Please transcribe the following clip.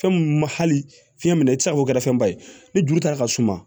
Fɛn mun ma hali fiɲɛ minɛ i tɛ se k'o kɛ fɛnba ye ni joli ta ka suma